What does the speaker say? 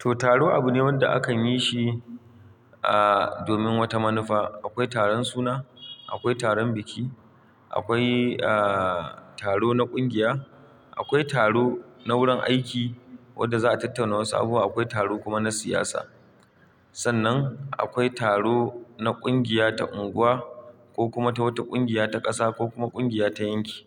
To, taro abu ne wanda akan yi shi, ah, domin wata manufa. Akwai taron suna, akwai taron biki, akwai, ah, taro na ƙungiya, akwai taro na wurin aiki wadda za a tattauna wasu abubuwa, akwai taro kuma na siyasa. Sannan akwai taro na kungiya ta unguwa ko kuma ta wata kungiya ta ƙasa ko kuma kungiya ta yanki.